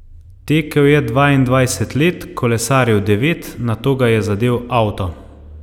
Tekel je dvaindvajset let, kolesaril devet, nato ga je zadel avto.